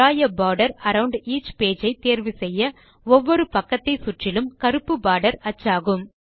draw a border around each page ஐ தேர்வு செய்ய ஒவ்வொரு பக்கத்தை சுற்றிலும் கருப்பு போர்டர் அச்சாகும்